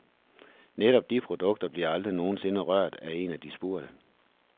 Netop de produkter bliver aldrig nogen sinde rørt af af de spurgte.